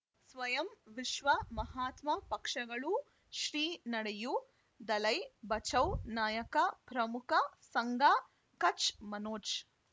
ಸ್ವಯಂ ವಿಶ್ವ ಮಹಾತ್ಮ ಪಕ್ಷಗಳು ಶ್ರೀ ನಡೆಯೂ ದಲೈ ಬಚೌ ನಾಯಕ ಪ್ರಮುಖ ಸಂಘ ಕಚ್ ಮನೋಜ್